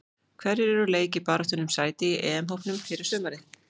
Hverjir eru úr leik í baráttunni um sæti í EM-hópnum fyrir sumarið?